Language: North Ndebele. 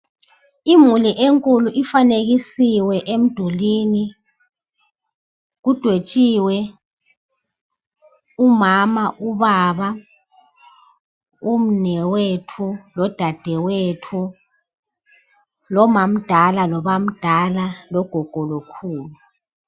Imuli enkulu ifanekisiwe emdulini, kudwetshiwe umama, ubaba umnewethu lodadewethu lomamdala lobamdala, logogo lokhulu.